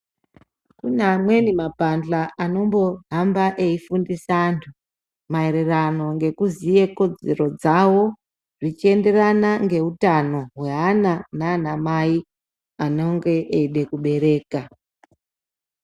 Kune amweni mapandla anombohamba eifundise antu maererano ngekuziye kodzero dzavo zvichienderana neutano hweana nana mai anenge eide kubereka.